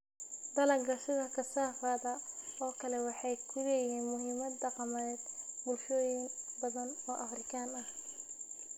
Dalagga sida kasaafada oo kale waxay ku leeyihiin muhiimad dhaqameed bulshooyin badan oo Afrikaan ah.